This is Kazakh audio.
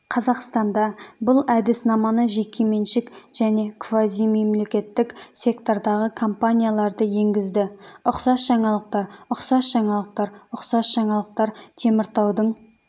қазақстанда бұл әдіснаманы жекеменшік және квазимемлекеттік сектордағы компаниялары енгізді ұқсас жаңалықтар ұқсас жаңалықтар ұқсас жаңалықтар теміртаудың